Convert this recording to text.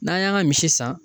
N'an y'an ka misi san.